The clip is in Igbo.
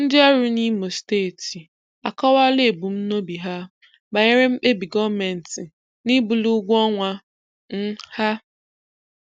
Ndị orụ n'ìmò Steeti akọwaala ebumnobi ha banyere mkpebi Goomenti n'ibuli ụgwọọnwa um ha.\n